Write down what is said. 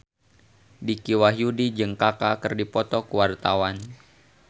Dicky Wahyudi jeung Kaka keur dipoto ku wartawan